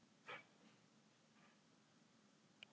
Gangi þér allt í haginn, Hnefill.